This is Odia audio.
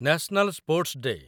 national sports day